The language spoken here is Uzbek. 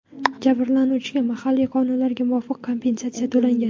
Jabrlanuvchiga mahalliy qonunlarga muvofiq kompensatsiya to‘langan.